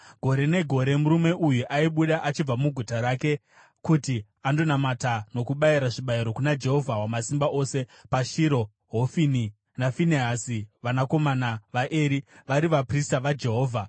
Gore negore murume uyu aibuda achibva muguta rake kuti andonamata nokubayira zvibayiro kuna Jehovha Wamasimba Ose paShiro, Hofini naFinehasi, vanakomana vaEri, vari vaprista vaJehovha.